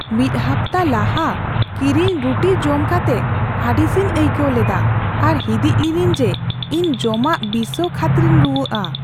ᱢᱤᱫ ᱦᱟᱯᱛᱟ ᱞᱟᱦᱟ ᱠᱤᱨᱤᱧ ᱨᱩᱴᱤ ᱡᱚᱢ ᱠᱟᱛᱮ ᱟᱹᱲᱤᱥᱤᱧ ᱟᱹᱭᱠᱟᱹᱣ ᱞᱮᱫᱟ ᱟᱨ ᱦᱤᱸᱫᱤᱡ ᱞᱤᱱᱟᱹᱧ ᱡᱮ ᱤᱧ ᱡᱚᱢᱟᱜ ᱵᱤᱥᱟᱹᱣ ᱠᱷᱟᱹᱛᱤᱨᱤᱧ ᱨᱩᱣᱟᱹᱜᱼᱟ ᱾